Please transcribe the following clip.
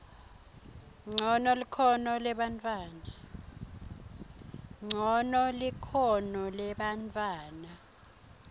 ncono likhono lebantfwana